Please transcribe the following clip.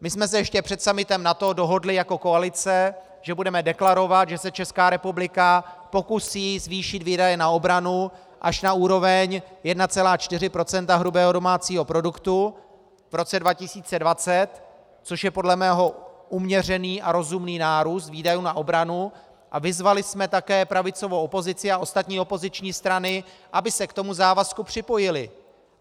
My jsme se ještě před summitem NATO dohodli jako koalice, že budeme deklarovat, že se Česká republika pokusí zvýšit výdaje na obranu až na úroveň 1,4 % hrubého domácího produktu v roce 2020, což je podle mého uměřený a rozumný nárůst výdajů na obranu, a vyzvali jsme také pravicovou opozici a ostatní opoziční strany, aby se k tomu závazku připojily.